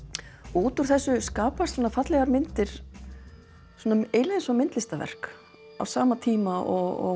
út úr þessu skapast fallegar myndir svona eiginlega eins og myndlistarverk á sama tíma og